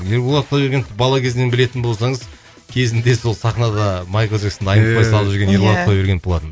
ерболат құдайбергеновты бала кезінен білетін болсаңыз кезінде сол сахнада майкл джексонды иә айнытпай салып жүрген иә құдайбергенов болатын